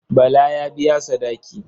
Bala ya biya sadaki.